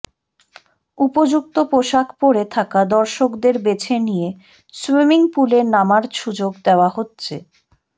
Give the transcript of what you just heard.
উপযুক্ত পোশাক পরে থাকা দর্শকদের বেছে নিয়ে সুইমিং পুলে নামার সুযোগ দেওয়া হচ্ছে